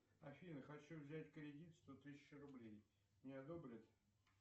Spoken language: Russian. афина хочу взять кредит сто тысяч рублей мне одобрят